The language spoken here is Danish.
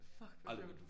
Fuck hvor sjovt